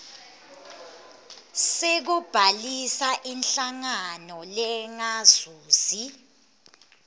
sekubhalisa inhlangano lengazuzi